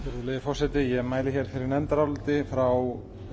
virðulegi forseti ég mæli hér fyrir nefndaráliti frá